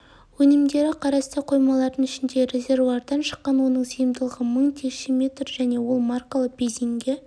өнімдері қарасты қоймалардың ішіндегі резервуардан шыққан оның сыйымдылығы мың текше метр және ол маркалы бензинге